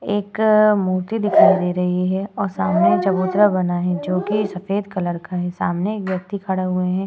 एक मूर्ति दिखाई दे रही है और सामने एक चबूतरा बना है जोकि सफ़ेद कलर का है। सामने एक व्यक्ति खड़ा हुए है।